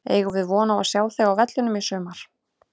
Eigum við von á að sjá þig á vellinum í sumar?